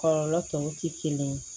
Kɔlɔlɔ tɔw ti kelen